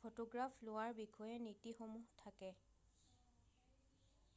photograph লোৱাৰ বিষয়ে নীতিসমূহ থাকে৷